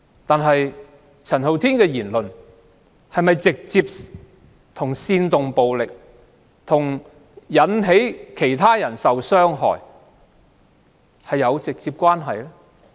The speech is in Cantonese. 但是，陳浩天的言論與煽動暴力、引致其他人受到傷害有否直接關係？